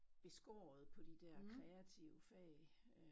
Beskåret på de der kreative fag øh